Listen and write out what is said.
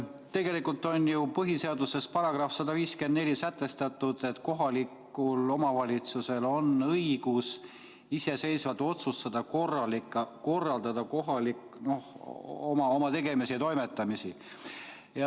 Tegelikult on ju põhiseaduse §-s 154 sätestatud, et kohalikul omavalitsusel on õigus iseseisvalt otsustada ja korraldada oma tegemisi-toimetamisi.